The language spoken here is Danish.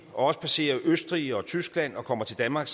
og passerer østrig og tyskland og kommer til danmark